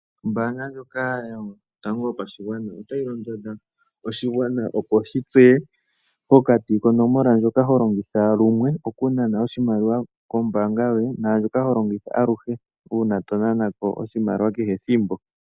Ombaanga ndjoka yotango yopashigwana otayi londodha oshigwana opo shi tseye eyooloko pokati konomola ndjoka ho longitha lumwe oku nana oshimaliwa kombaanga yoye naandjoka ho longitha uuna to nana ko oshimaliwa kehe ethimbo.